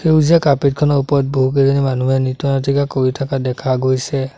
সেউজীয়া কাৰ্পেট খনৰ ওপৰত বহুকেইজনী মানুহে নৃত্য নাটিকা কৰি থকা দেখা গৈছে।